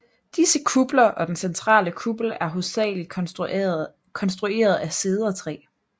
Disse kupler og den centrale kuppel er hovedsageligt konstrueret af cedertræ